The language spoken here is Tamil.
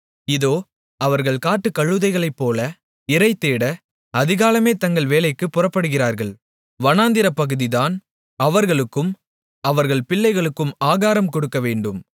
இதோ அவர்கள் காட்டுக்கழுதைகளைப்போல இரைதேட அதிகாலமே தங்கள் வேலைக்குப் புறப்படுகிறார்கள் வனாந்திரப் பகுதிதான் அவர்களுக்கும் அவர்கள் பிள்ளைகளுக்கும் ஆகாரம் கொடுக்கவேண்டும்